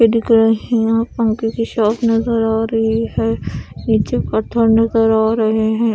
ये देख रहे यहाँ पंखे की शॉप नजर आ रही है नीचे पत्थर नजर आ रहे ह--